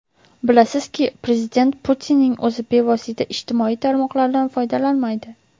Bilasizki, prezident Putinning o‘zi bevosita ijtimoiy tarmoqlardan foydalanmaydi.